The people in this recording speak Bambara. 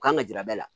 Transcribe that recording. U kan ka jira bɛɛ la